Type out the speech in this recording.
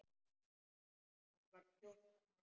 Hann var fjórtán ára.